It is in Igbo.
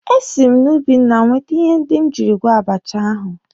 E si m n'ubi nna m wete ihe ndị m jiri gwọọ abacha ahụ.